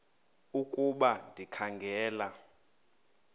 ukuba ndikha ngela